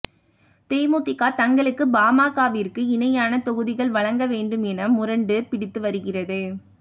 தேமுதிக தங்களுக்கு பாமகவிற்கு இணையான தொகுதிகள் வழங்க வேண்டும் என முரண்டு பிடித்து வருகிறது